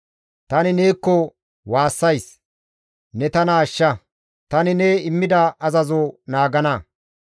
Tani neekko waassays; ne tana ashsha; tani ne immida azazoza naagana.